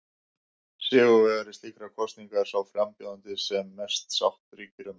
Sigurvegari slíkrar kosningar er sá frambjóðandi sem mest sátt ríkir um.